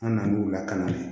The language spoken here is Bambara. An nan'u lakanan de